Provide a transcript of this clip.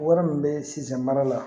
Wari min bɛ sinsin mana la